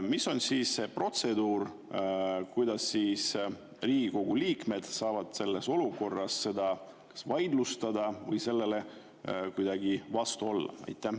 Mis on siis see protseduur: kuidas saavad Riigikogu liikmed selles olukorras seda kas vaidlustada või sellele kuidagi vastu olla?